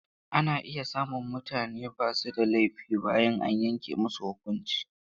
Ana iya samun mutane ba su da laifi bayan an yanke musu huƙunci.